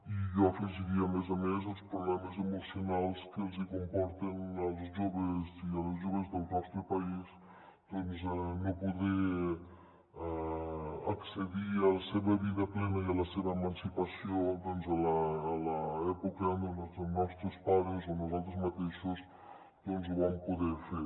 i jo hi afegiria a més a més els problemes emocionals que els hi comporta als joves i a les joves del nostre país doncs no poder accedir a la seva vida plena i a la seva emancipació a l’època en la que els nostres pares o nosaltres mateixos ho vam poder fer